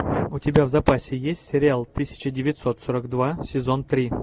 у тебя в запасе есть сериал тысяча девятьсот сорок два сезон три